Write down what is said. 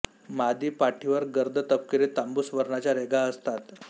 मादी पाठीवर गर्द तपकिरी तांबूस वर्णाच्या रेघा असतात